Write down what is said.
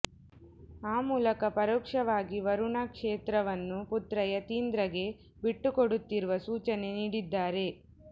ಆ ಮೂಲಕ ಪರೋಕ್ಷವಾಗಿ ವರುಣಾ ಕ್ಷೇತ್ರವನ್ನು ಪುತ್ರ ಯತೀಂದ್ರಗೆ ಬಿಟ್ಟುಕೊಡುತ್ತಿರುವ ಸೂಚನೆ ನೀಡಿದ್ದಾರೆ